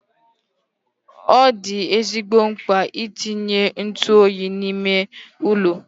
Ọ dị ezigbo mkpa itinye ntụ oyi n'ime ụlọ.